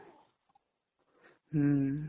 উম